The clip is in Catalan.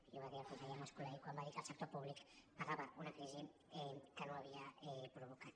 i ho va dir el conseller mas·colell quan va dir que el sector públic pagava una crisi que no havia provocat